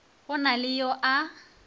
go na le yo a